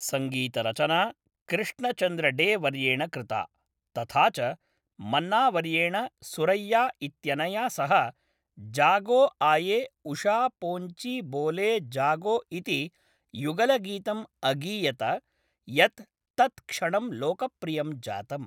सङ्गीतरचना कृष्णचन्द्र डे वर्येण कृता, तथा च मन्ना वर्येण सुरैया इत्यनया सह जागो आये उषा पोन्ची बोले जागो इति युगलगीतं अगीयत, यत् तत्क्षणं लोकप्रियं जातम्।